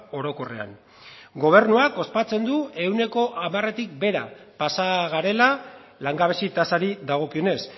orokorrean gobernuak ospatzen du ehuneko hamaretik behera pasa garela langabezi tasari dagokionez